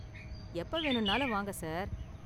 எப்ப வேணும்னாலும் வாங்க சார்.